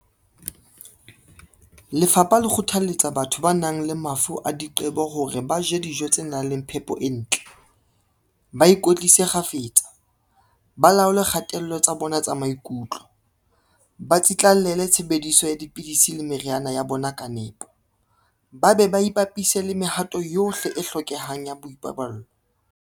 Lefapha le kgothalletsa batho ba nang le mafu a diqe-bo hore ba je dijo tse nang le phepo e ntle, ba ikwetlise kgafetsa, ba laole dikgatello tsa bona maikutlo, ba tsitla-llele tshebediso ya dipidisi le meriana ya bona ka nepo, ba be ba ipapise le mehato yohle e hlokehang ya boipaballo.